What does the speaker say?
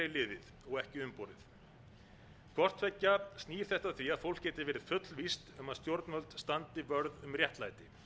liðið og ekki umborið hvort tveggja snýr þetta að því að fólk geti verið fullvíst um að stjórnvöld standi vörð um réttlæti